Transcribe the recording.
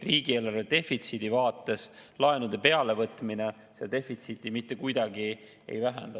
Riigieelarve defitsiidi vaates laenude peale võtmine seda defitsiiti mitte kuidagi ei vähenda.